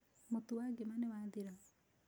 Mũtu wa ngima nĩ wathira.